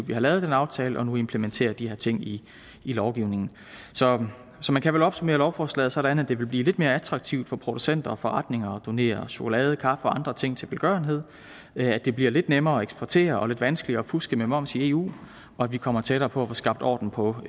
vi har lavet den aftale og nu implementerer de her ting i lovgivningen så så man kan vel opsummere lovforslaget sådan at det vil blive lidt mere attraktivt for producenter og forretninger at donere chokolade kaffe og andre ting til velgørenhed at det bliver lidt nemmere at eksportere og lidt vanskeligere at fuske med moms i eu og at vi kommer tættere på at få skabt orden på